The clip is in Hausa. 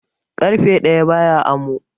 ƙarfe ɗaya baya amo